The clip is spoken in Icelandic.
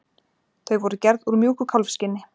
Þau voru gerð úr mjúku kálfskinni.